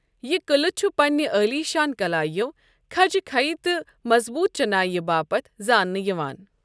یہ قلعہ چھ پنٛنہِ عالیشان كلاییو ، کھجہِ خھیی تہٕ مضبوط چنایہ باپت زانٛنہٕ یوان ۔